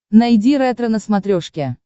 найди ретро на смотрешке